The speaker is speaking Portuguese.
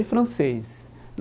Aí, francês.